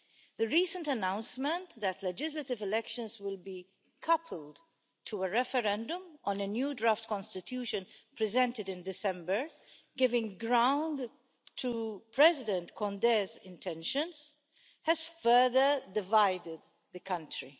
The recent announcement that legislative elections will be coupled to a referendum on a new draft constitution presented in December, giving ground to President Condé's intentions, has further divided the country.